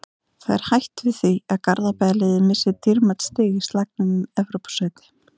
Það er hætt við því að Garðabæjarliðið missi dýrmæt stig í slagnum um Evrópusæti.